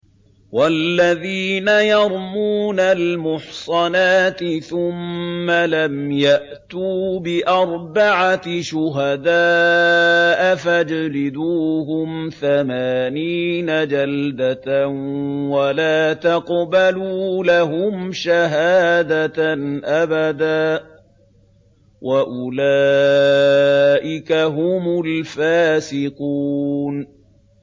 وَالَّذِينَ يَرْمُونَ الْمُحْصَنَاتِ ثُمَّ لَمْ يَأْتُوا بِأَرْبَعَةِ شُهَدَاءَ فَاجْلِدُوهُمْ ثَمَانِينَ جَلْدَةً وَلَا تَقْبَلُوا لَهُمْ شَهَادَةً أَبَدًا ۚ وَأُولَٰئِكَ هُمُ الْفَاسِقُونَ